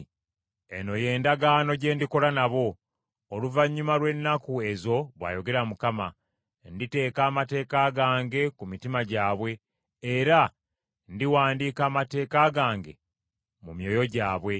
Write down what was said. “Eno y’endagaano gye ndikola nabo, oluvannyuma lw’ennaku ezo, bw’ayogera Mukama. Nditeeka amateeka gange ku mitima gyabwe, era ndiwandiika amateeka gange mu myoyo gyabwe.”